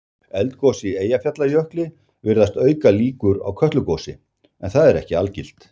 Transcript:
eldgos í eyjafjallajökli virðist auka líkur á kötlugosi en það er ekki algilt